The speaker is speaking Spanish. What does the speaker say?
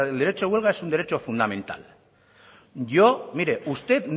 derecho de huelga es un derecho fundamental yo mire usted